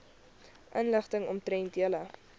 inligting omtrent julle